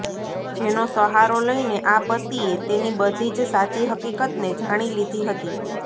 જેનો સહારો લઈને આ પતિએ તેની બધી જ સાચી હકીકતને જાણી લીધી હતી